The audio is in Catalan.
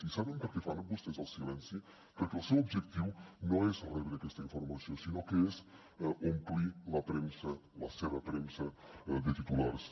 i saben per què fan vostès el silenci perquè el seu objectiu no és rebre aquesta informació sinó que és omplir la premsa la seva premsa de titulars